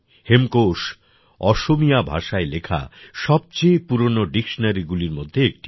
হেমকোষ অসমীয়া ভাষায় লেখা সবচেয়ে পুরনো ডিকশনারিগুলির মধ্যে একটি